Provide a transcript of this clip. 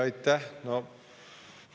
Aitäh!